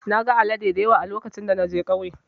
Na gan alade dayawa a lokacin da na je kauye.